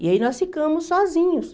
E aí nós ficamos sozinhos.